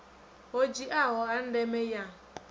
ho dziaho ha ndeme ya